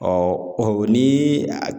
ni